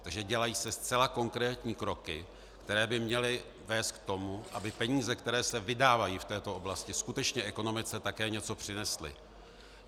Takže se dělají zcela konkrétní kroky, které by měly vést k tomu, aby peníze, které se vydávají v této oblasti, skutečně ekonomice také něco přinesly.